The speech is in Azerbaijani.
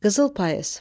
Qızıl payız.